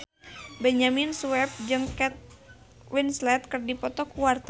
Benyamin Sueb jeung Kate Winslet keur dipoto ku wartawan